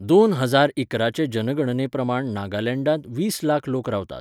दोन हजार इकरा चे जनगणने प्रमाण नागालँडांत वीस लाख लोक रावतात.